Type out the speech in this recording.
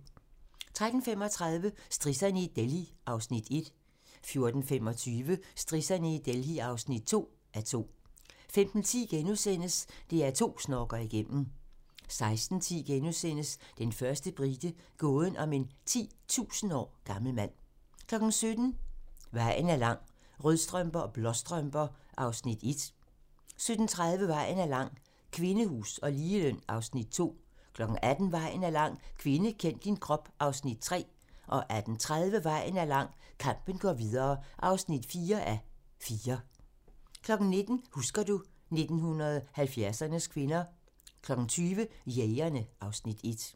13:35: Strisserne i Delhi (1:2) 14:25: Strisserne i Delhi (2:2) 15:10: DR2 snorker igennem * 16:10: Den første brite - gåden om en 10.000 år gammel mand * 17:00: Vejen er lang - Rødstrømper og Blåstrømper (1:4) 17:30: Vejen er lang - Kvindehus og ligeløn (2:4) 18:00: Vejen er lang - Kvinde, kend din krop (3:4) 18:30: Vejen er lang - Kampen går videre (4:4) 19:00: Husker du ... 1970'ernes kvinder 20:00: Jægerne (Afs. 1)